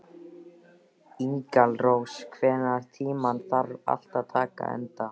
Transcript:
Engilrós, einhvern tímann þarf allt að taka enda.